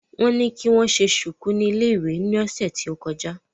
Wọ́n ní kí wọ́n ṣe ṣùkú ní iléèwé ni ọ̀sẹ̀ tó kọjá